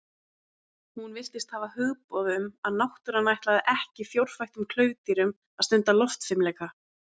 Hún virtist hafa hugboð um að náttúran ætlaði ekki fjórfættum klaufdýrum að stunda loftfimleika.